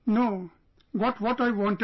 No, got what I wanted